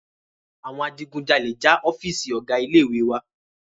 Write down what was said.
Àwọn Adigunjàlè já ọ́fììisí ọgá ilé ìwé wa.